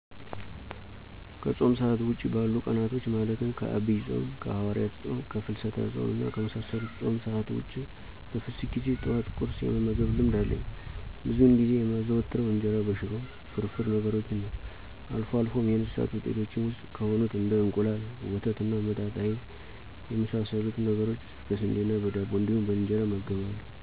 ከፆም ሰአት ውጪ ባሉት ቀናቶች ማለትም ከአብይ ፆም፣ ከሀዋርያት ፆም፣ ከፍስለታ ፆም እና ከመሳሰሉት የፆም ሰአት ውጭ በፍስክ ጊዜ ጠዋት ቁርስ የመመገብ ልምድ አለኝ። ብዙውን ጊዜ የማዘወትረው እንጀራ በሽሮ፣ ፍርፍር ነገሮችን ነዉ። አልፎ አልፎም የእንስሳት ውጤቶች ውስጥ ከሆኑት እንደ እንቁላል፣ ወተት እና መጣጣ አይብ እና የመሳሰሉትን ነገሮች በስንዴ ዳቦ እንዲሁም በእንጀራ እመገባለሁ።